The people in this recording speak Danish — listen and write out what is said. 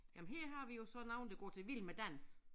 Jamen her har vi jo så nogen der går til Vild Med Dans